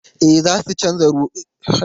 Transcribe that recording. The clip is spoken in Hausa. E, za su canza tashar jiragen ruwa.